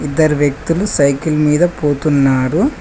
ఇద్దరు వ్యక్తులు సైకిల్ మీద పోతున్నారు.